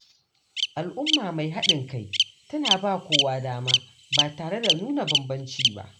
Al’umma mai haɗin kai tana ba kowa dama, ba tare da nuna bambanci ba.